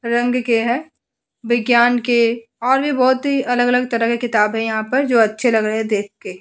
रंग के है विज्ञान के और भी बहुत ही अलग अलग तरह के किताबें हैं यहाँ पर जो अच्छे लग रहे हैं देख के।